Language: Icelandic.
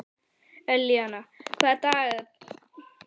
Elíanna, hvað er á dagatalinu mínu í dag?